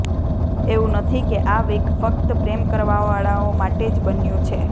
એવું નથી કે આ વીક ફક્ત પ્રેમ કરવાવાળાઓ માટે જ બન્યું છે